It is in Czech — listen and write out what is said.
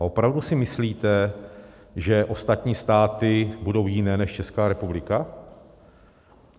A opravdu si myslíte, že ostatní státy budou jiné než Česká republika?